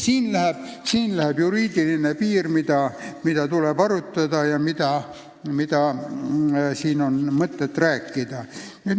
Siit läheb juriidiline piir.